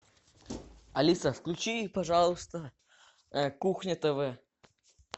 алиса включи пожалуйста кухня тв